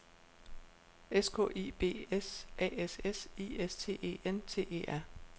S K I B S A S S I S T E N T E R